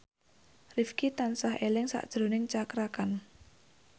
Rifqi tansah eling sakjroning Cakra Khan